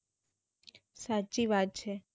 સાચી વાત છે